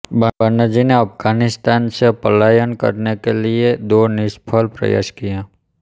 बनर्जी ने अफगानिस्तान से पलायन करने के लिए दो निष्फल प्रयास किये